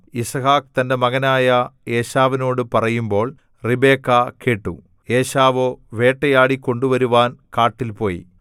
യിസ്ഹാക്ക് തന്റെ മകനായ ഏശാവിനോടു പറയുമ്പോൾ റിബെക്കാ കേട്ടു ഏശാവോ വേട്ടയാടി കൊണ്ടുവരുവാൻ കാട്ടിൽ പോയി